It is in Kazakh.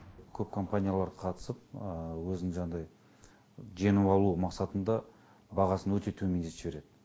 көп компаниялар қатысып өзінің жаңағындай жеңіп алу мақсатында бағасын өте төмендетіп жібереді